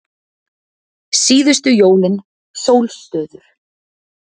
Síðustu jólin, sólstöður